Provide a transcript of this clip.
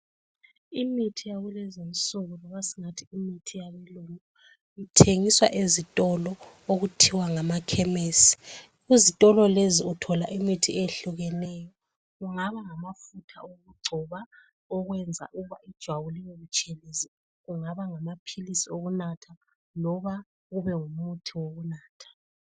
Imithi yakulezinsuku loba esingathi my ithi yabelungu ithengiswa ezitolo okuthiwa ngamakhemesi. Kuzitolo lezi uthola imithi eyehlukeneyo, kungaba ngamafutha okugcoba okwenza ukuthi ijwabu libebutshelezi, ungaba ngamaphilisi okunatha loba ube ngumuthi wokunatha.